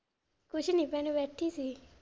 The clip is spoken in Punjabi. ਕੁੱਛ ਨਹੀਂ ਭੈਣੇ ਬੈਠੀ ਸੀ।